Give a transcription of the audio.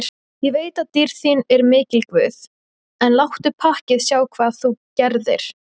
Ég veit að dýrð þín er mikil guð, en láttu pakkið sjá hvað þú gerðir.